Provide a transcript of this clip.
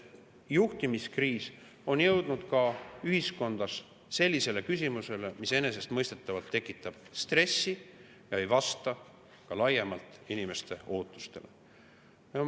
Juhtimiskriis on jõudnud ühiskonnas ka selles küsimuses ja enesestmõistetavalt tekitab see stressi ega vasta ka laiemalt inimeste ootustele.